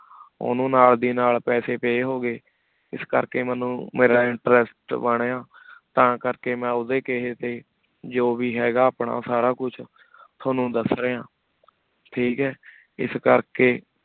ਓਨੁ ਨਾਲ ਦੇ ਨਾਲ ਪੇਸੀ pay ਹੋ ਗਏ ਇਸ ਕਰ ਕੀ ਮੇਨੂ ਮੇਰਾ interest ਬਨਯ ਤਾ ਕਰ ਕੀ ਮੈ ਓਦੇ ਕਹੀ ਟੀ ਜੋ ਵੇ ਹੇਗਾ ਆਪਣਾ ਸਾਰਾ ਕੁਛ ਤ੍ਵਾਨੁ ਦਸ ਰਯ ਠੀਕ ਹੈ ਇਸ ਕਰ ਕੀ